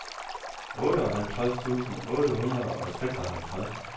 otteoghalvtreds tusind otte hundrede og seksoghalvtreds